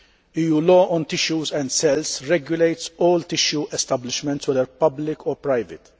EU law on tissues and cells regulates all tissue establishments, whether public or private.